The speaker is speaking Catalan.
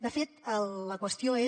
de fet la qüestió és